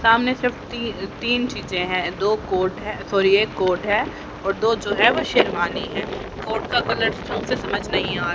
सामने से ती तीन चीजे है दो कोट हैं सॉरी एक कोट है दो जो है वो शेरवानी है कोट का कलर समझ नहीं आ रहा है।